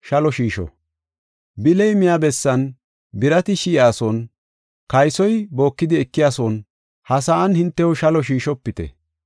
“Bili miya bessan, birati shi7iyason, kaysoy bookidi ekiyason, ha sa7an, hintew shalo shiishopite.